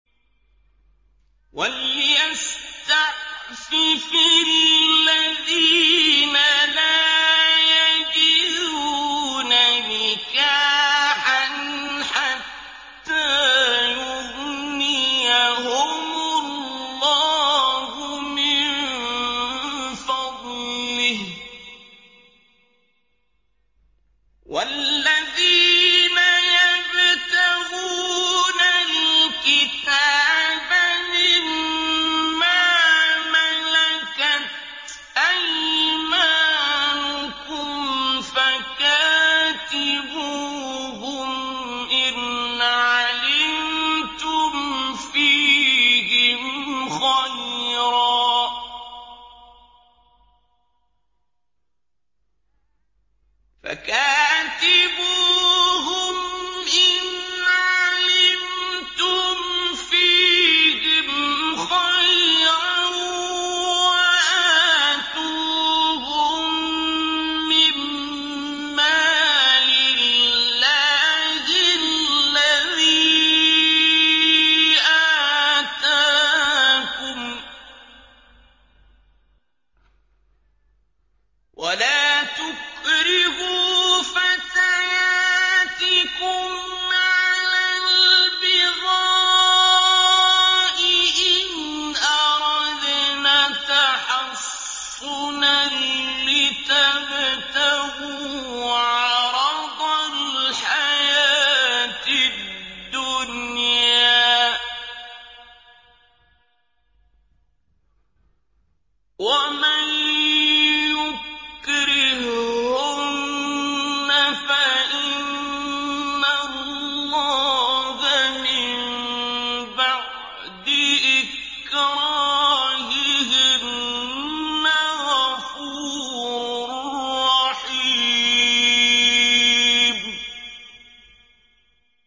وَلْيَسْتَعْفِفِ الَّذِينَ لَا يَجِدُونَ نِكَاحًا حَتَّىٰ يُغْنِيَهُمُ اللَّهُ مِن فَضْلِهِ ۗ وَالَّذِينَ يَبْتَغُونَ الْكِتَابَ مِمَّا مَلَكَتْ أَيْمَانُكُمْ فَكَاتِبُوهُمْ إِنْ عَلِمْتُمْ فِيهِمْ خَيْرًا ۖ وَآتُوهُم مِّن مَّالِ اللَّهِ الَّذِي آتَاكُمْ ۚ وَلَا تُكْرِهُوا فَتَيَاتِكُمْ عَلَى الْبِغَاءِ إِنْ أَرَدْنَ تَحَصُّنًا لِّتَبْتَغُوا عَرَضَ الْحَيَاةِ الدُّنْيَا ۚ وَمَن يُكْرِههُّنَّ فَإِنَّ اللَّهَ مِن بَعْدِ إِكْرَاهِهِنَّ غَفُورٌ رَّحِيمٌ